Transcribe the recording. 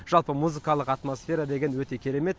жалпы музыкалық атмосфера деген өте керемет